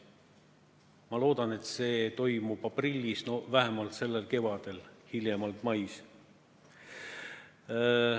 Ma loodan, et see toimub aprillis või vähemasti sellel kevadel, hiljemalt mais.